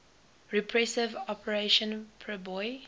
repressive operation priboi